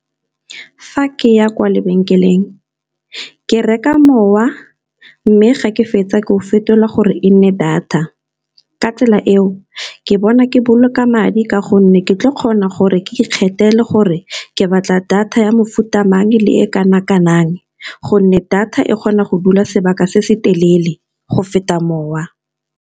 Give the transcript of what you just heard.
Fa ke ya kwa lebenkeleng ke reka mowa, mme ga ke fetsa ke go fetolwa gore e nne data, ka tsela eo ke bona ke boloka madi ka gonne ke tlo kgona gore ke ikgethele gore ke batla, data ya mofuta amang le e kanakanang gonne data e kgona go dula sebaka se se telele go feta mowa.